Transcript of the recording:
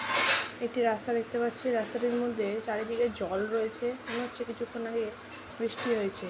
একটি রাস্তা দেখতে পাচ্ছি রাস্তাটির মধ্যে চারিদিকে জল রয়েছে মনে হচ্ছে কিছুক্ষণ আগে বৃষ্টি হয়েছে।